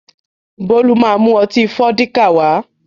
Bólú má mú ọtí Fọ́díkà wá